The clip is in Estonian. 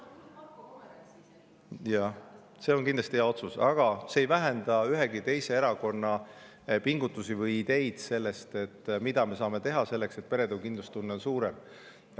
Jaa, see on kindlasti hea otsus, aga see ei vähenda ühegi teise erakonna pingutusi ega nende ideid, mida me saame teha selleks, et perede kindlustunne oleks suurem.